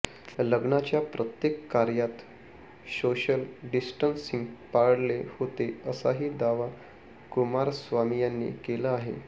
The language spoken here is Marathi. लग्नाच्या प्रत्येक कार्यात सोशल डिस्टन्सिंग पाळले होते असाही दावा कुमारस्वामी यांनी केला आहे